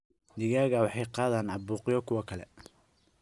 Digaagga waxay ka qaadaan caabuqyo kuwa kale.